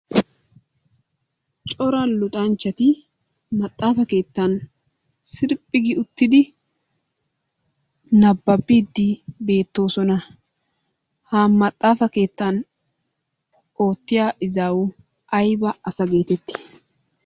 Cora luxxachchati maaxafa keettan sirphphi uttidi nababbiidi beettoosona. Ha maaxafaa keettan oottiyaa iizzawi ayba asa geettetti?